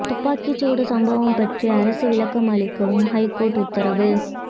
துப்பாக்கி சூடு சம்பவம் பற்றி அரசு விளக்கம் அளிக்கவும் ஹைகோர்ட் உத்தரவு